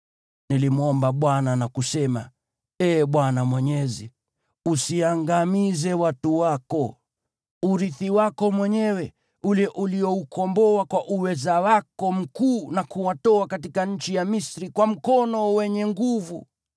Nilimwomba Bwana na kusema, “Ee Bwana Mwenyezi, usiangamize watu wako, urithi wako mwenyewe ule ulioukomboa kwa uweza wako mkuu na kuwatoa katika nchi ya Misri kwa mkono wenye nguvu.